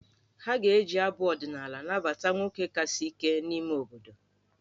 Ha ga-eji abụ ọdịnaala nabata nwoke kasị ike n'ime obodo.